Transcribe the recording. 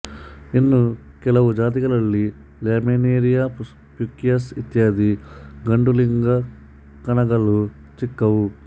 ಇನ್ನು ಕೆಲವು ಜಾತಿಗಳಲ್ಲಿ ಲ್ಯಾಮಿನೇರಿಯ ಪ್ಯುಕಸ್ ಇತ್ಯಾದಿ ಗಂಡುಲಿಂಗಕಣಗಳು ಚಿಕ್ಕವು